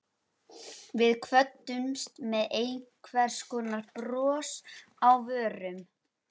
Við kvöddumst með einhvers konar bros á vörum.